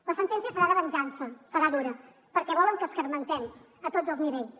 la sentència serà de venjança serà durà perquè volen que escarmentem a tots els nivells